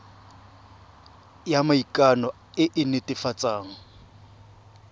ya maikano e e netefatsang